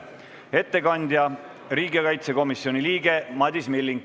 Ettekandja on riigikaitsekomisjoni liige Madis Milling.